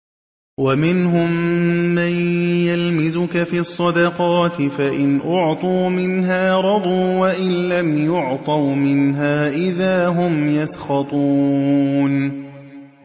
وَمِنْهُم مَّن يَلْمِزُكَ فِي الصَّدَقَاتِ فَإِنْ أُعْطُوا مِنْهَا رَضُوا وَإِن لَّمْ يُعْطَوْا مِنْهَا إِذَا هُمْ يَسْخَطُونَ